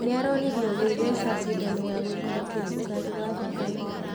Nĩ aronirio kwitheca cindano ya guikũrũkia cukari wa thakame.